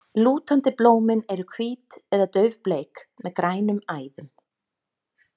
Lútandi blómin eru hvít eða daufbleik, með grænum æðum.